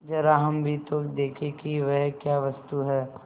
जरा हम भी तो देखें कि वह क्या वस्तु है